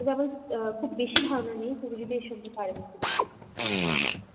তবে আমার অ্যাঁ খুব বেশি ধারণা নেই তুমি যদি এর সম্পর্কে আরো কিছু বলতে.